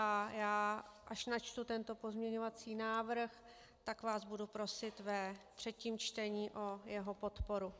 A já, až načtu tento pozměňovací návrh, tak vás budu prosit ve třetím čtení o jeho podporu.